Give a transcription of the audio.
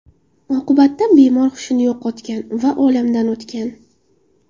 Oqibatda bemor hushini yo‘qotgan va olamdan o‘tgan.